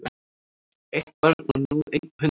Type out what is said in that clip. Eitt barn og nú einn hundur